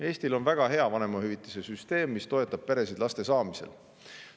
Eestil on väga hea vanemahüvitise süsteem, mis toetab peresid laste saamisel.